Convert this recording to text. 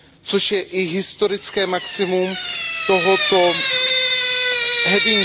což je i historické maximum tohoto okruhu.